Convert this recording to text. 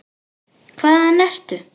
Hvaðan ertu?